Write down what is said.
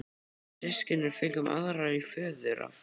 Við systkinin fengum aðra í föðurarf.